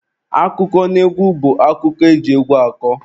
Akụkọnaegwu bụ akụkọ eji egwu akọ